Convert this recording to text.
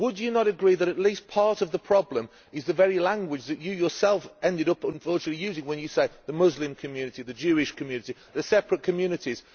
Would you not agree that at least part of the problem is the very language that you yourself unfortunately end up using when you talk about the Muslim community, the Jewish community, the separate communities.